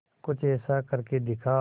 कुछ ऐसा करके दिखा